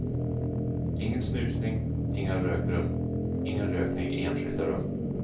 Ingen snusning, inga rökrum och ingen rökning i enskilda rum.